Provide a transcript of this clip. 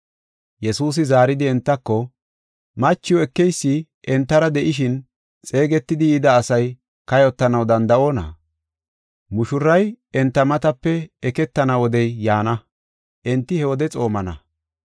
Yesuusi zaaridi entako, “Machiw ekeysi entara de7ishin xeegetidi yida asay kayotanaw danda7onna? Mushuray enta matape eketana wodey yaana, enti he wode xoomana.